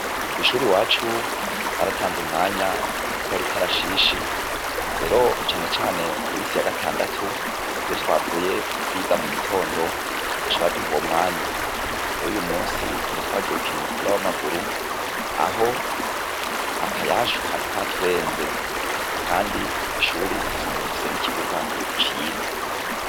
Kw'ishure iwacu baratanze umwanya wogukora ikarashishi, rero cane cane ku misi yagatandatu iyo twavuye kwiga mugitondo, baca baduha uwo mwanya rero uyumusi twari twagiye gukina umupira w'amaguru, aho akayashu kari katurenze kandi kw'ishure dusanzwe dufise n'ikibuga ciza.